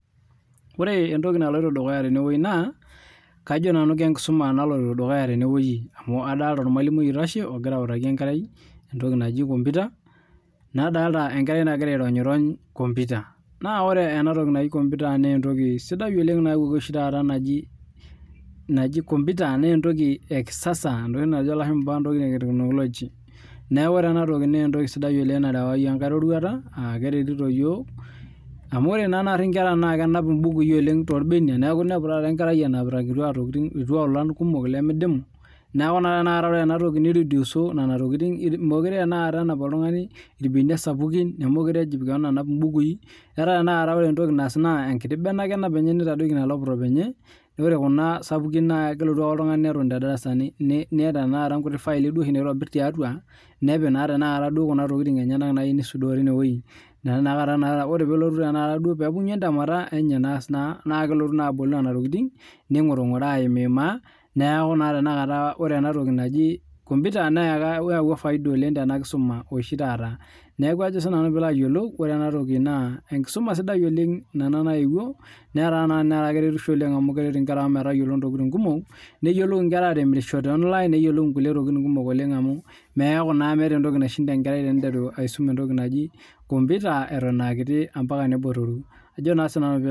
Ore emtoki naloito dukuya tenewueji na kajo nanu kenkisuma naloito dukuya tenewueji amu adolta ormalimui oitasho ogira autaki enkerai emtoki naji komputa nadolta enkerai nagita aironyirony komputa na ore enatoki naji komputa na entoki sidai oleng nayawuaki oshi taata najib komputa na entoki ekisasa entoki najo lashumba ene technology entoki ena nayawa yiok enkai roruata amu ore oshi apa nkera na kenap mbukui oleng torbenia neaku inepu nai enkerai enamita irkutia tokitin torbenia irkituaolan kumol limidimu n aaku ore enatoki niroduso nona tokitin mekute tanakata enapa oltungani nona irbenia sapukin nemelute ejip ana anap mbukui etaa tanakata ore entoki naas na enkiti bene ake enap enye nitadoki ina laptop enye ore kuna sapukin kelotu ake oltungani neton tedarasa teneeta duo nluti faili naitobir tiatua nepik naaduo tanakata nona tokitin enyenak nayieu nisudoo tinewueji naa tanakata ore lepunyu entemata enye naas na kelotu abol nonatokitin ningurungura aimaa neaku naa ore enatoki naji komputa neyawua faida oleng tenakisuma oshi taata neaku ore pilo ayiolou ore enatoki na enkisuma sidai oleng naewuo netaa keretisho oleng amu keret nkera aang metayiolo ntokitin kumok amu meeta entoki naishinda enkerai teniteru aisum entoki naji komputa atan aa kiti ambaka nebotoru ajo na sinanu pilo ayiolou.